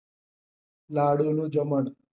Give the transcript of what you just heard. લાડુ નું જમણ.